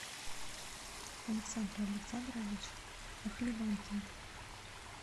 александр александрович охливанкин